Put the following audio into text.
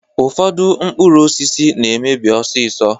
Ụfọdụ mkpụrụ osisi na-emebi ọsịsọ